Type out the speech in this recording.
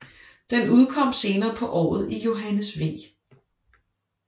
Den udkom senere på året i Johannes V